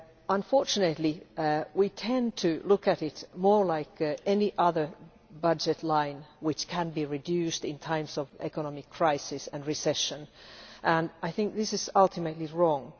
Unfortunately we tend to look at it more like any other budget line which can be reduced in times of economic crisis and recession, and I think this is ultimately wrong.